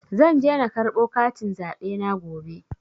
Zan je na karɓo katin zaɓe na gobe.